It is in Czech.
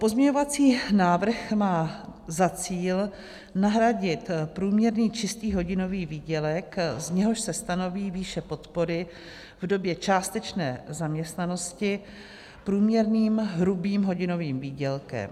Pozměňovací návrh má za cíl nahradit průměrný čistý hodinový výdělek, z něhož se stanoví výše podpory v době částečné zaměstnanosti, průměrným hrubým hodinovým výdělkem.